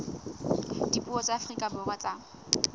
dipuo tsa afrika borwa tsa